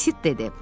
Sid dedi: